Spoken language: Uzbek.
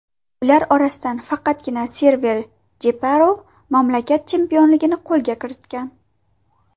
Ular orasidan faqatgina Server Jeparov mamlakat chempionligini qo‘lga kiritgan.